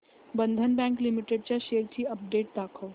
बंधन bank limited च्या shares ची update दाखव